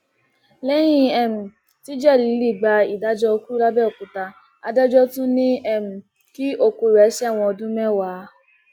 lẹyìn um tí jẹlílì gba ìdájọ ikú làbẹòkúta adájọ tún ní um kí òkú rẹ sẹwọn ọdún mẹwàá